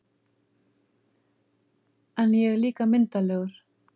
En ég er líka myndarlegur